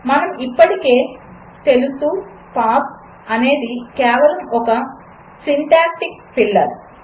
మనకు ఇప్పటికే తెలుసు పాస్ అనేది కేవలం ఒక సింటాక్టిక్ ఫిల్లర్